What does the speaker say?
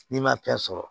N'i ma fɛn sɔrɔ